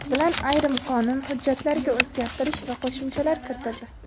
bilan ayrim qonun hujjatlariga o‘zgartish va qo‘shimchalar kiritildi.